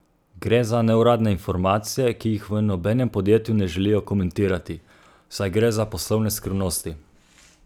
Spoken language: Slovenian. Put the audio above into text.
Gre za neuradne informacije, ki jih v nobenem podjetju ne želijo komentirati, saj gre za poslovne skrivnosti.